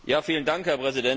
Herr Präsident!